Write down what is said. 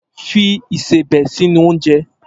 Fi ìsebẹ̀ sínú oúnjẹ!